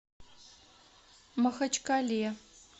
махачкале